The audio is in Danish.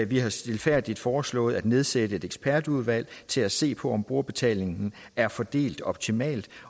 vi har stilfærdigt foreslået at nedsætte et ekspertudvalg til at se på om brugerbetaling er fordelt optimalt